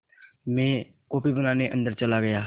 मैं कॉफ़ी बनाने अन्दर चला गया